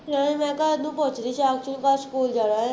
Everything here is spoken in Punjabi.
ਅਤੇ ਮੈਂ ਕਿਹਾ ਉਹਨੂੰ ਪੁੱਛਦੀ ਸਾਕਸ਼ੀ ਨੂੰ, ਕੱਲ ਸਕੂ਼ਲ ਜਾਣਾ ਹੈ